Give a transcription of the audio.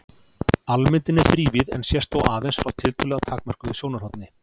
Almyndin er þrívíð en sést þó aðeins frá tiltölulega takmörkuðu sjónarhorni.